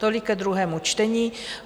Tolik ke druhému čtení.